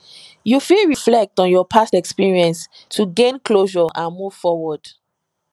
you fit reflect on your past experience to gain closure and move forward